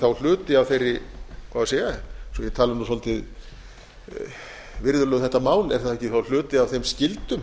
þá hluti af þeirri svo ég tali nú svolítið virðulega um þetta mál er það ekki þá hluti af þeim skyldum